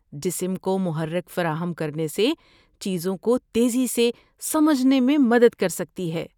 جسم کو محرک فراہم کرنے سے چیزوں کو تیزی سےسمجھنے میں مدد کر سکتی ہے۔